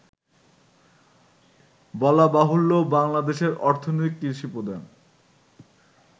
বলাবাহুল্য, বাংলাদেশের অর্থনীতি কৃষিপ্রধান